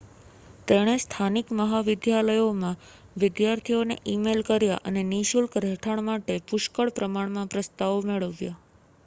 તેણે સ્થાનિક મહાવિદ્યાલયોમાં વિદ્યાર્થીઓને ઇમેઇલ કર્યા અને નિઃશુલ્ક રહેઠાણ માટે પુષ્કળ પ્રમાણમાં પ્રસ્તાવો મેળવ્યા